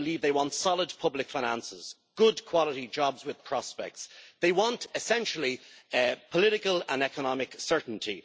I believe they want solid public finances and good quality jobs with prospects. They want, essentially, political and economic certainty.